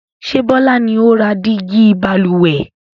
Ṣé Bọlá ni ó ra dígí Balùwẹ̀?